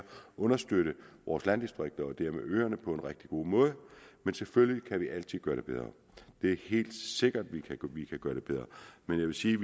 understøtte vores landdistrikter og dermed øerne på en rigtig god måde men selvfølgelig kan vi altid gøre det bedre det er helt sikkert at vi kan gøre det bedre men jeg vil sige